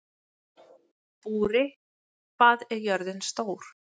Búri, hvað er jörðin stór?